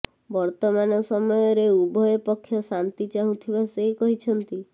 ବର୍ତ୍ତମାନ ସମୟରେ ଉଭୟ ପକ୍ଷ ଶାନ୍ତି ଚାହୁଁଥିବା ସେ କହିଛନ୍ତି